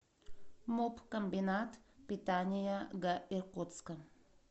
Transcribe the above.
муп комбинат питания г иркутска